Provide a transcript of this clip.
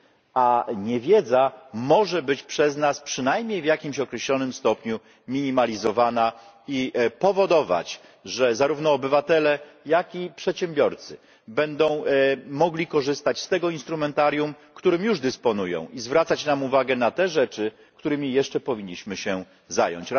a niewiedza może być przez nas przynajmniej w jakimś określonym stopniu minimalizowana i powodować, że zarówno obywatele, jak i przedsiębiorcy będą mogli korzystać z tego instrumentarium, którym już dysponują i zwracać nam uwagę na te rzeczy, którymi jeszcze powinniśmy się zająć.